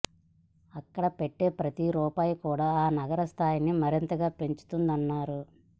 అక్కడ పెట్టే ప్రతి రూపాయి కూడా ఆ నగర స్థాయిని మరింతగా పెంచుతుందన్నారు